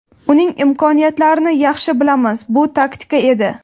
Uning imkoniyatlarini yaxshi bilamiz, bu taktika edi.